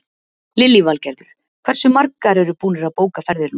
Lillý Valgerður: Hversu margir eru búnir að bóka ferðir núna?